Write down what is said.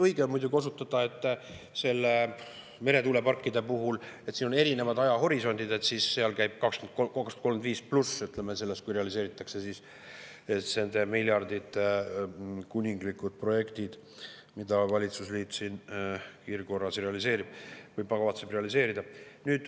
Õige on muidugi osutada, et meretuuleparkide puhul on erinev ajahorisont, seal käib jutt aastast 2035+, kui nende miljardite eest realiseeritakse kuninglikud projektid, mida valitsusliit siin kiirkorras realiseerib või kavatseb realiseerida.